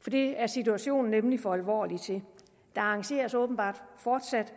for det er situationen nemlig for alvorlig til der arrangeres åbenbart fortsat